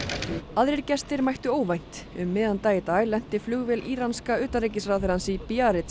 aðrir gestir mættu óvænt um miðjan dag í dag lenti flugvél íranska utanríkisráðherrans í